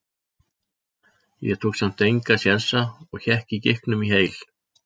Ég tók samt enga sénsa og hékk á gikknum í heil